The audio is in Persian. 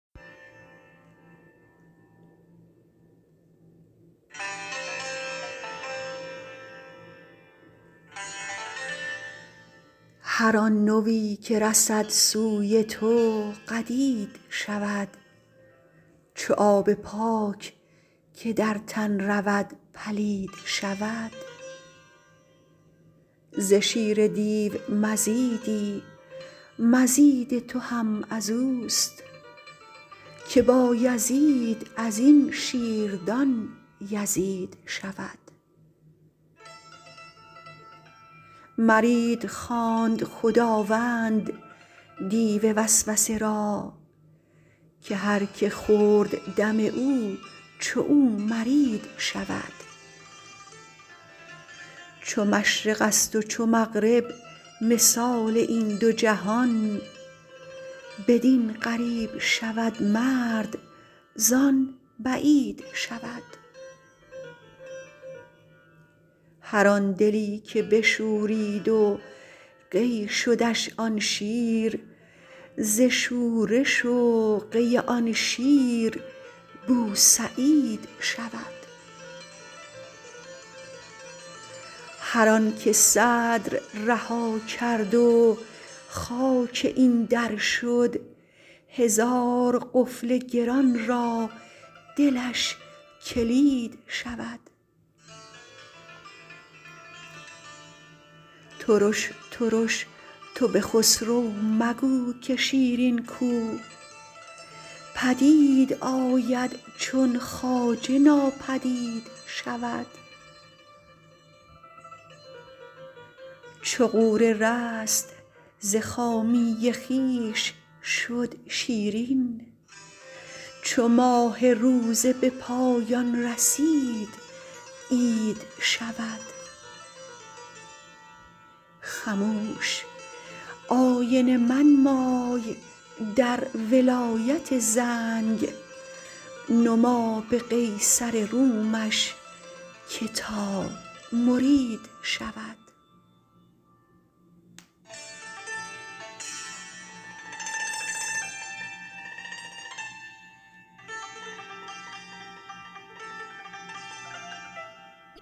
هر آن نوی که رسد سوی تو قدید شود چو آب پاک که در تن رود پلید شود ز شیر دیو مزیدی مزید تو هم از اوست که بایزید از این شیردان یزید شود مرید خواند خداوند دیو وسوسه را که هر که خورد دم او چو او مرید شود چو مشرقست و چو مغرب مثال این دو جهان بدین قریب شود مرد زان بعید شود هر آن دلی که بشورید و قی شدش آن شیر ز شورش و قی آن شیر بوسعید شود هر آنک صدر رها کرد و خاک این در شد هزار قفل گران را دلش کلید شود ترش ترش تو به خسرو مگو که شیرین کو پدید آید چون خواجه ناپدید شود چو غوره رست ز خامی خویش شد شیرین چو ماه روزه به پایان رسید عید شود خموش آینه منمای در ولایت زنگ نما به قیصر رومش که تا مرید شود